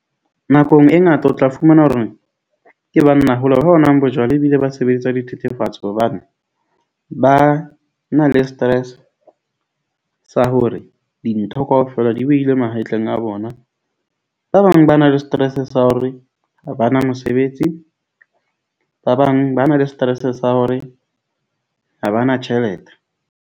Nakong e ngata o tla fumana horeng ke banna hola ba nwang bojwala ebile ba sebedisa dithethefatsi. Hobane ba na le stress sa hore dintho kaofela di behilwe mahetleng a bona. Ba bang ba na le stress sa hore ha ba na mosebetsi. Ba bang ba na le stress sa hore ha ba na tjhelete.